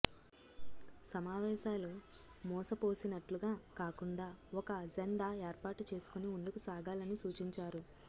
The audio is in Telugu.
సమావేశాలు మూసపోసినట్లుగా కాకుండా ఒక అజెండా ఏర్పాటు చేసుకొని ముందుకు సాగాలని సూచించారు